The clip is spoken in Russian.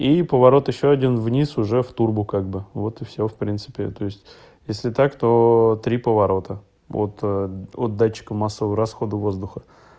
и поворот ещё один вниз уже в турбу как бы вот и всё в принципе то есть если так то три поворота вот от датчика массового расхода воздуха